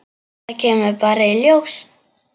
Það kemur bara í ljós.